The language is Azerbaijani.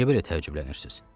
Niyə belə təəccüblənirsiniz?